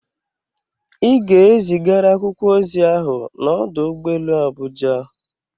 Ị ga-ezigara akwụkwọ ozi ahụ n'ọdụ ụgbọ elu Abuja!